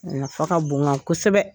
Nafa ka bon n kan kosɛbɛ